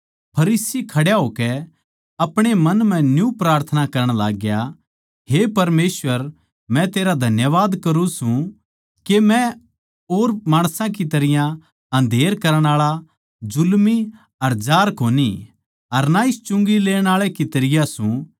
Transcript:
फरीसी खड्या होकै अपणे मन म्ह न्यू प्रार्थना करण लाग्या हे परमेसवर मै तेरा धन्यवाद करूँ सूं के मै और माणसां की तरियां अन्धेर करण आळा जुल्मी अर जार कोनी अर ना इस चुंगी लेण आळे की तरियां सूं